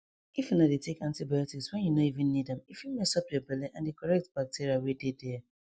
if una dey take antibiotics when you no even need ame fit mess up your belle and the correct bacteria wey dey there